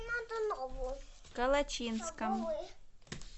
калачинском